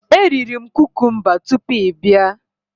Eriri m kukumba tupu ị bịa.